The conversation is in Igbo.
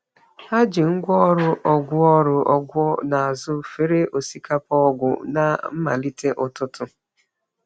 Ha jiri ngwá ọrụ ọgwụ ọrụ ọgwụ n’azụ fere osikapa ọgwụ na mmalite ụtụtụ.